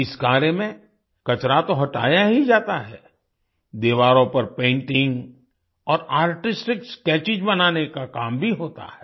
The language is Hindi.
इस कार्य में कचरा तो हटाया ही जाता है दीवारों पर पेंटिंग और आर्टिस्टिक स्केचेस बनाने का काम भी होता है